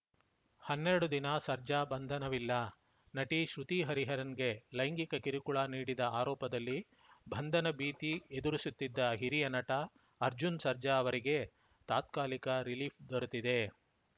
ಹನ್ನೆರಡು ದಿನ ಸರ್ಜಾ ಬಂಧನವಿಲ್ಲ ನಟಿ ಶ್ರುತಿಹರಿಹರನ್‌ಗೆ ಲೈಂಗಿಕ ಕಿರುಕುಳ ನೀಡಿದ ಆರೋಪದಲ್ಲಿ ಬಂಧನ ಭೀತಿ ಎದುರಿಸುತ್ತಿದ್ದ ಹಿರಿಯ ನಟ ಅರ್ಜುನ್‌ ಸರ್ಜಾ ಅವರಿಗೆ ತಾತ್ಕಾಲಿಕ ರಿಲೀಫ್‌ ದೊರೆತಿದೆ